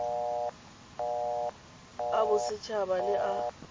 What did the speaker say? a boset haba le a